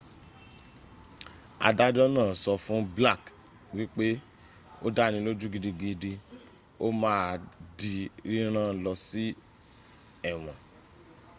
adájọ́ náà sọ fún blake wípé o dáni lójú gigdigidi o máà di rírán lọ si éwọ́n